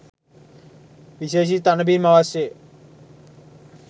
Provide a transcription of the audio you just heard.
විශේෂිත තණ බිම් අවශ්‍යය